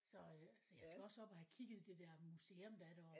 Så øh så jeg skal også op og have kigget det der museum der er deroppe